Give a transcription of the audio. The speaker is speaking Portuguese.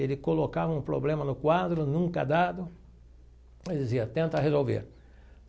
Ele colocava um problema no quadro, nunca dado, mas dizia, tenta resolver.